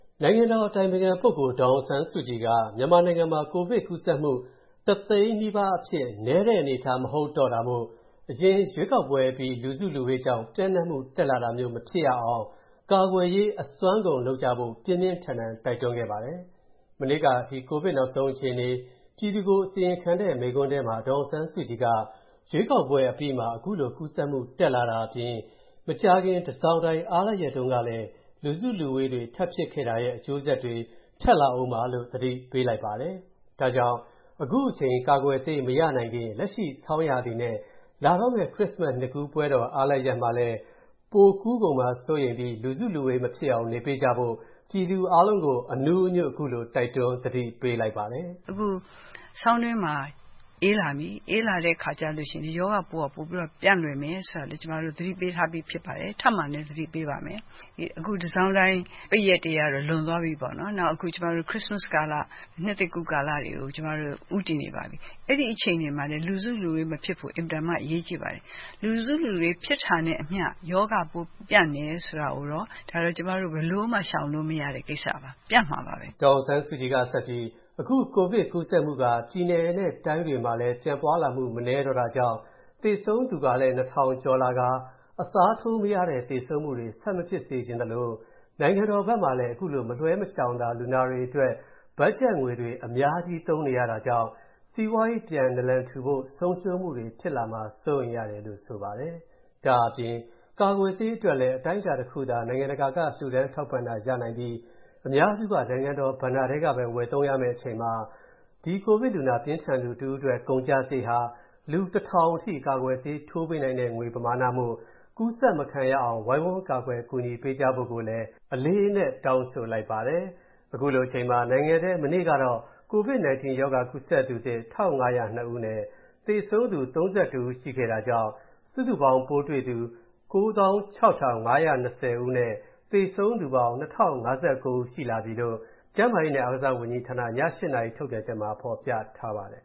နိုင်ငံတော်အတိုင်ပင်ခံပုဂ္ဂိုလ် ဒေါ်အောင်ဆန်းစုကြည်က မြန်မာနိုင်ငံမှာ ကိုဗစ်ကူးစက်မူ တစ်သိန်းနီးပါးအဖြစ် နည်းတဲ့အနေအထားမဟုတ်တော့တာမို့၊ အရင် ရွေးကောက်ပွဲအပြီးလူစုလူဝေးကြောင့်၊ ပျံ့နှံမူတက်လာတာမျိုးမဖြစ်ရအောင်၊ ကာကွယ်ရေး အစွမ်းကုန်လုပ်ကြဖို့ ပြင်းပြင်းထန်ထန် တိုက်တွန်းလိုက်ပါတယ်။ မနေ့က ဒီကိုဗစ်နောက်ဆုံးအခြေအနေ ပြည်သူကိုအစီရင်ခံတဲ့ မိန့်ခွန်းထဲမှာ ဒေါ်အောင်ဆန်းစုကြည်က၊ ရွေးကောက်ပွဲအပြီးမှာ ခုလို ကူးစက်မူတက်လာတာအပြင်၊ မကြာခင် တန်ဆောင်တိုင်အားလပ်ရက်တုန်းကလည်း လူစုလူဝေးတွေထပ်ဖြစ်ခဲ့တာရဲ့ အကျိုးဆက်တွေ ထပ်လာဦးမှာလို့ သတိပေးလိုက်ပါတယ်။ ဒါကြောင့် အခုချိန် ကာကွယ်ဆေးမရနိုင်ခင် လက်ရှိဆောင်းရာသီနဲ့၊ လာတော့မယ့် ခရစ်စမတ်နှစ်ကူးပွဲတော်အားလပ်ရက်မှာလည်း ပိုကူးကုန်မှာစိုးရိမ်ပြီး၊ လူစုလူဝေး မဖြစ်အောင်နေပေးကြဖို့၊ ပြည်သူအားလုံးကို အနူးအညွတ် ခုလို တိုက်တွန်းသတိပေးလိုက်ပါတယ်။ “ဆောင်းတွင်းမှာ အေးလာပြီ၊ အေးလာတဲ့အခါကျတော့ ရောဂါပိုးက ပျံ့လွယ်မယ်ဆိုတာက ကျမတို့ သတိပေးထားပြီးဖြစ်ပါတယ်။ ထပ်မံလည်း သတိပေးပါမယ်။ အခု တန်ဆောင်တိုင်ပိတ်ရက်တွေကတော့ လွန်သွားပြီပေါ့နော် နောက်အခု ခရစ်စမတ်ကာလ ၊ နှစ်သစ်ကူးကာလတွေကို ဦးတည်နေပါတယ်။ အဲဒီအခြေအနေတွေမှာလည်း လူစုလူဝေးမဖြစ်ဖို့ အင်မတန်မှ အရေးကြီးပါတယ်။ လူစုလူဝေး ဖြစ်တာနဲ့အမျှ ရောဂါပိုး ပျံ့တယ်ဆိုတာကိုတော့ ဘယ်လိုမှ ရှောင်လို့မရတဲ့ ကိစ္စပါ ၊ ပျံ့မှာပါပဲ။” ဒေါ်အောင်ဆန်းစုကြည်ကဆက်ပြီး အခု ကိုဗစ်ကူးစက်မူက ပြည်နယ်တွေတိုင်းတွေမှာလည်း ပြန့်ပွားလာမူ မနည်းတော့တာကြောင့်၊ သေဆုံးသူကလည်း ၂၀၀၀ ကျော်လာကာ၊ အစားထိုးမရတဲ့သေဆုံးမူတွေ ဆက်မဖြစ်စေချင်သလို၊ နိုင်ငံတော်ဖက်မှာလည်း ခုလိုမလွှဲမလျှောင်သာ လူနာတွေအတွက် ဘတ်ဂျက်ငွေတွေ အများကြီးသုံးနေရတာကြောင့်၊ စီးပွားရေးပြန်နလန်ထူဖို့ ဆုံရှုံးမူတွေဖြစ်လာမှာစိုးရိမ်တယ်လို့ ဆိုပါတယ်။ ဒါ့အပြင် ကာကွယ်ဆေးအတွက်လည်း အတိုင်းအတာတစ်သာ လှူဒါန်းထောက်ပံ့တာရနိုင်ပြီး၊ အများစုက နိုင်ငံတော်ဘဏ္ဏာထဲကပဲ ဝယ်သုံးရမယ့် အချိန်မှာ၊ ဒီကိုဗစ်လူနာ ပြင်းထန်သူတစ်ဦးအတွက် ကုန်ကျစရိတ်ဟာ လူတစ်ထောင်အထိ ကာကွယ်ဆေးထိုးပေးနိုင်တဲ့ ငွေပမာဏမို့ ကူးစက်မခံရအောင်ဝိုင်းဝန်းကာကွယ်ကူညီပေးကြဖို့လည်း အလေးအနက်တောင်းဆိုလိုက်ပါတယ်။ ခုလိုအချိန်မှာ နိုင်ငံထဲ မနေ့ကတော့ COVID-19 ရောဂါကူးစက်သူ သစ် ၁၅၀၂ ဦးနဲ့၊ သေဆုံးသူ ၃၁ ထပ်တိုးခဲ့တာကြောင့်၊ စုစုပေါင်းပိုးတွေ့သူ ၉၆,၅၂၀ နဲ့၊ သေဆုံးသူပေါင်း ၂,၀၅၉ ဦးရှိလာပြီလို့၊ ကျန်းမာရေးနဲ့အားကစားဝန်ကြီးဌာန ည (၈) နာရီထုတ်ပြန်ချက်မှာ ဖော်ပြထားပါတယ်